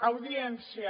audiència